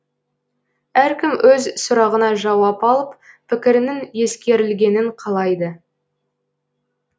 әркім өз сұрағына жауап алып пікірінің ескерілгенін қалайды